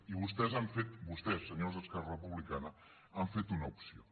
i vostès han fet vostès senyors d’esquerra republicana l’han feta una opció